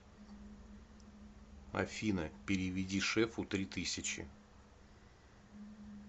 афина переведи шефу три тысячи